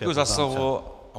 Děkuji za slovo.